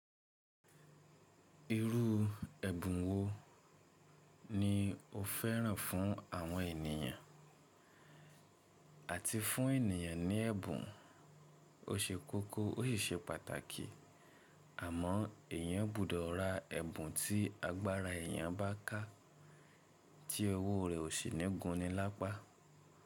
Irú ẹ̀bùn wo ni o fẹ́ràn fún àwọn ènìyàn àti fún ènìyàn ní ẹ̀bùn? O ṣe kókó ó sì ṣe pàtàkì àmọ́ èèyàn gbọ́dọ̀ ra ẹ̀bùn tí agbára èèyàn bá kà tí owó rẹ̀ ò sì ní gun ni lápá.